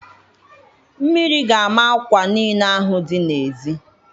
Mmiri ga-ama akwa niile ahụ dị n'ezi.